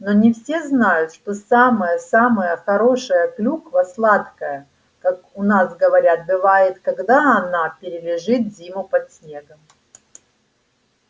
но не все знают что самая-самая хорошая клюква сладкая как у нас говорят бывает когда она перележит зиму под снегом